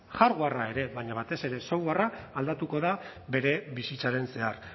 hardwarea ere baina batez ere software a aldatuko da bere bizitzaren zehar